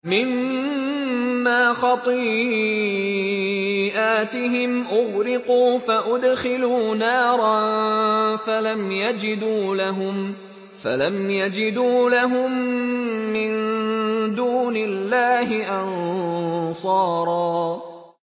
مِّمَّا خَطِيئَاتِهِمْ أُغْرِقُوا فَأُدْخِلُوا نَارًا فَلَمْ يَجِدُوا لَهُم مِّن دُونِ اللَّهِ أَنصَارًا